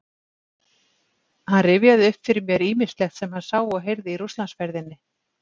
Hann rifjaði upp fyrir mér ýmislegt sem hann sá og heyrði í Rússlandsferðinni